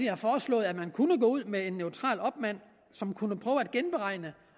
har foreslået at man kunne gå ud med en neutral opmand som kunne prøve at genberegne